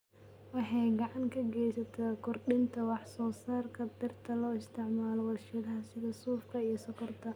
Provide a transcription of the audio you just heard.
Waxay gacan ka geysataa kordhinta wax soo saarka dhirta loo isticmaalo warshadaha sida suufka iyo sonkorta.